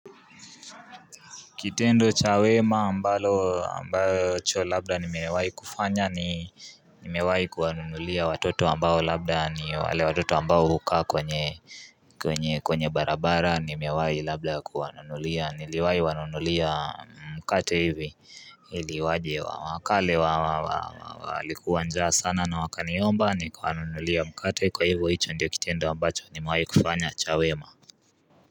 Kitendo chawema mbalo ambacho labda ni mewai kufanya ni mewai kuwanunulia watoto wambao labda ni wale watoto wambao hukaa kwenye kwenye kwenye barabara nimewai labda kuanunulia niliwai wanunulia mkate hivi ili waje wa wakale walikuwanjaa sana na wakaniomba ni kuwanunulia mkate kwa hivyo hicho ndio kitendo ambacho nimewai kufanya cha wema.